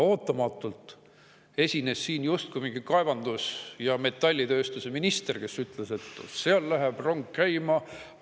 Ootamatult esines siin justkui mingi kaevandus- ja metallitööstuse minister, kes ütles, et seal läheb rong käima.